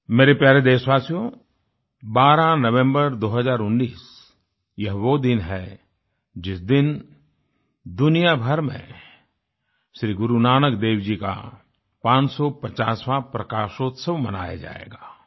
मेरे प्यारे देशवासियो 12 नवंबर 2019 यह वो दिन है जिस दिन दुनिया भर में श्री गुरुनानक देव जी का 550वाँ प्रकाश उत्सव मनाया जाएगा